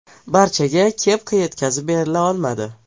…Barchaga kepka yetkazib berila olmadi.